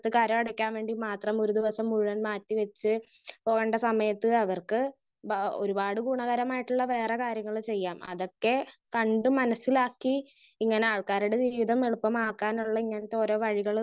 Speaker 1 കരം അടക്കാൻ വേണ്ടി മാത്രം ഒരു ദിവസം മുഴുവൻ മാറ്റി വെച്ച് പോണ്ട സമയത്ത് അവർക്ക് ബാ ഒരുപാട് ഗുണകരമായിട്ടുള്ള വേറെ കാര്യങ്ങള് ചെയ്യാം. അതൊക്കെ കണ്ട് മനസ്സിലാക്കി ഇങ്ങനെ ആൾക്കാരുടെ ജീവിതം എളുപ്പമാക്കാനുള്ള ഇങ്ങനത്തെ ഓരോ വഴികള്